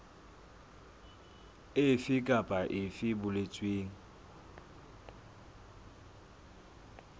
efe kapa efe e boletsweng